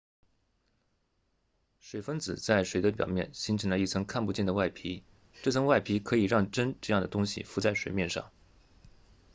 水分子在水的表面形成了一层看不见的外皮这层外皮可以让针这样的东西浮在水面上